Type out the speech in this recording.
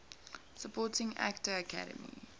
supporting actor academy